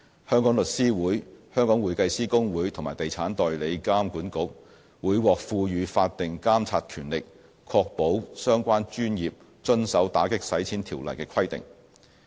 香港律師會、香港會計師公會和地產代理監管局會獲賦予法定監察權力，確保相關專業遵守《條例》的規定。